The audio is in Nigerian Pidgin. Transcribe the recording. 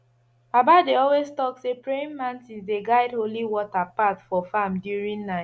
baba dey always talk say praying mantis dey guide holy water path for farm during night